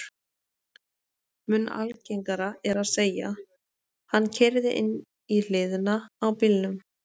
Mun algengara er að segja: Hann keyrði inn í hliðina á bílnum